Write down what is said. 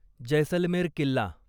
Jaisalmer Killa